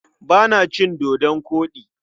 Ba na cin dodon koɗi.